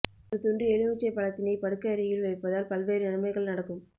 ஒரு துண்டு எலுமிச்சை பழத்தினை படுக்கை அறையில் வைப்பதால் பல்வேறு நன்மைகள் நடக்கும்